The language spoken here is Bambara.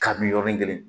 Kabini yɔrɔnin kelen